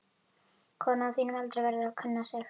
Kona á þínum aldri verður að kunna sig.